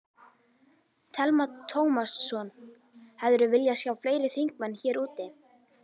Telma Tómasson: Hefðirðu viljað sjá fleiri þingmenn hér úti?